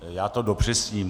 Já to dopřesním.